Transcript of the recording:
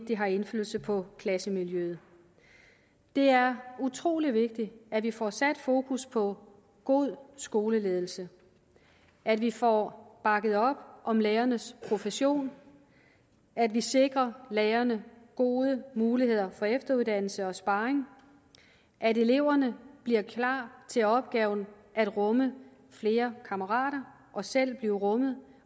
det har indflydelse på klassemiljøet det er utrolig vigtigt at vi får sat fokus på god skoleledelse at vi får bakket op om lærernes profession at vi sikrer lærerne gode muligheder for efteruddannelse og sparring at eleverne bliver klar til opgaven at rumme flere kammerater og selv blive rummet